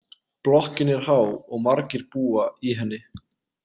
Blokkinn er há og margir búa í henni.